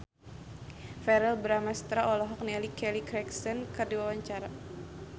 Verrell Bramastra olohok ningali Kelly Clarkson keur diwawancara